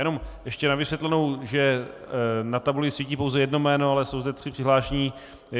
Jenom ještě na vysvětlenou, že na tabuli svítí pouze jedno jméno, ale jsou zde tři přihlášení.